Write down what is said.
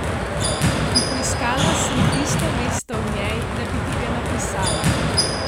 In poiskala sem tisto mesto v njej, da bi ti ga napisala.